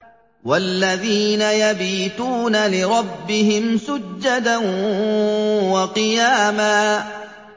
وَالَّذِينَ يَبِيتُونَ لِرَبِّهِمْ سُجَّدًا وَقِيَامًا